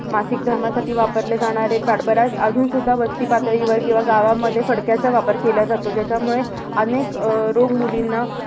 मासिक धर्मासाठी वापरले जाणारे pad. बऱ्याच अजून सुद्धा वस्ती पातळीवर किंवा गावामध्ये फडक्याचा वापर केला जातो. ज्याच्यामुळे अनेक अह रोग मुलींना,